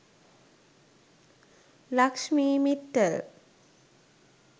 lakshmi mittal